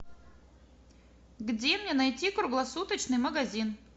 где мне найти круглосуточный магазин